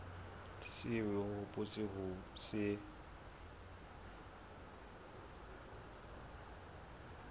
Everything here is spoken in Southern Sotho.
seo o hopotseng ho se